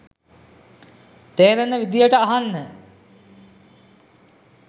තේරෙන විදියට අහන්න.